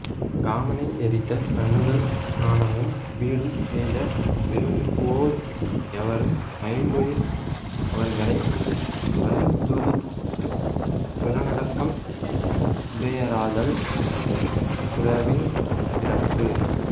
காமனை எரித்த கண்ணுதல் ஞானமும் வீடும் எய்த விரும்புவோர் எவரும் ஐம்பொறி அவர்களை அறுந்தொழித்துப் புலனடக்கம் உடையராதல் துறவின் சிறப்பு